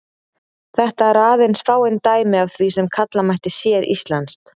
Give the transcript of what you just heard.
Þetta eru aðeins fáein dæmi af því sem kalla mætti séríslenskt.